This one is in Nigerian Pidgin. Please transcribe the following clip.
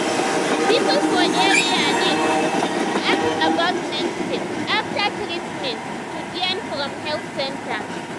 people for area need um ask about next step after treatment um to gain from health center.